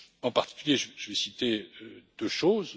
En particulier, je vais citer deux choses.